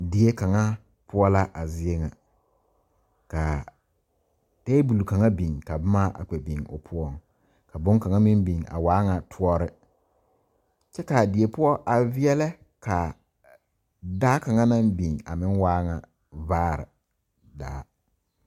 Die kaŋa poɔ la a zie ŋa ka tabol kaŋa biŋ ka boma a kpɛ biŋ o poɔŋ ka bonkaŋa meŋ biŋ a waa ŋa toɔre kyɛ k,a die poɔ a veɛlɛ ka daa kaŋanaŋ biŋ a meŋ waa ŋa vaare daa.